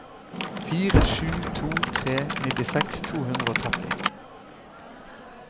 fire sju to tre nittiseks to hundre og tretti